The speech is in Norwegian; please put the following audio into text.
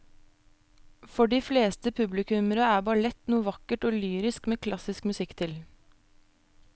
For de fleste publikummere er ballett noe vakkert og lyrisk med klassisk musikk til.